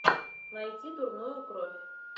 найти дурную кровь